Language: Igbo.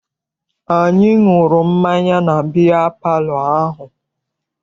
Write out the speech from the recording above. Anyị ṅụrụ mmanya na biya palọ ahụ.